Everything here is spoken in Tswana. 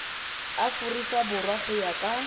aforika borwa go ya ka